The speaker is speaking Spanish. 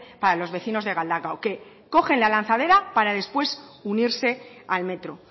para los vecinos de galdakao que cogen la lanzadera para después unirse al metro